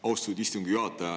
Austatud istungi juhataja!